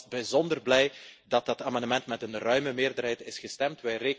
Ik ben alvast bijzonder blij dat dat amendement met een ruime meerderheid is goedgekeurd.